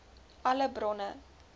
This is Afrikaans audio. alle bronne